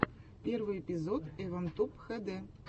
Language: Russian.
первый эпизод эван туб хэ дэ